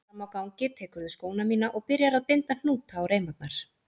Frammi á gangi tekurðu skóna mína og byrjar að binda hnúta á reimarnar.